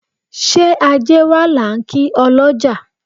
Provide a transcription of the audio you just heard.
Ṣé ajé wá là ń kí ọlọ́já